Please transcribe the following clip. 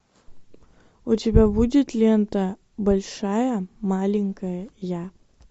у тебя будет лента большая маленькая я